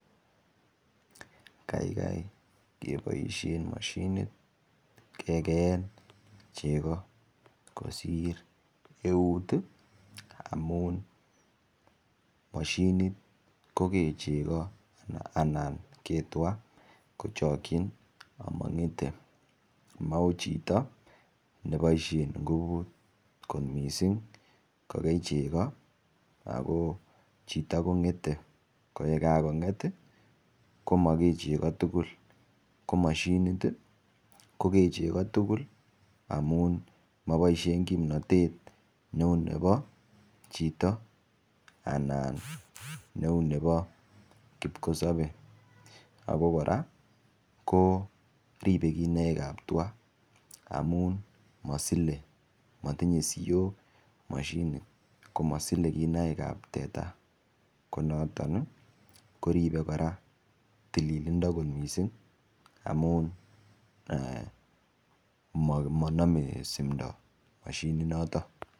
Kaikai keboishen mashinit kekeen cheko kosir eut amun mashinit koker cheko anan Kee tuga kochokchin ama ng'etei mau chito neboishen nguvut kot mising ko kei chego Ako chito ko ng'etei koe kakonget koma kee chego tugul ko mashinit ko kee chego tugul amun maboishen kimnotet neu nebo chito ana neu nebo kipkosopei ako kora ko ripe kinaik ap tuga amun masilei matinyei siok mashinit komasilei kinaik ap teta ko noton koripe kora tililindo kot mising amun manome simdo mashinit noto